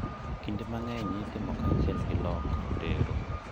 Kinde mang`enyitimo kanyachiel gi loko teru.